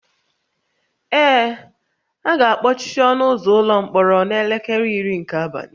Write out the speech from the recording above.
Ee, a ga-akpọchi ọnụ ụzọ ụlọ mkpọrọ n'elekere iri nke abalị